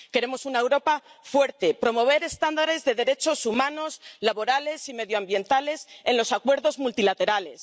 Queremos una Europa fuerte, promover estándares de derechos humanos, laborales y medioambientales en los acuerdos multilaterales.